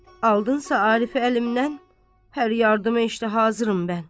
Aldınsa Arifi əlimdən, hər yardıma işdə hazıram mən.